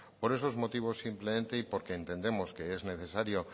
por esos juegos simplemente y porque entendemos que es necesario